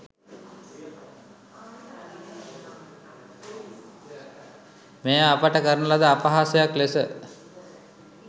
මෙය අපට කරන ලද අපහාසයක් ලෙස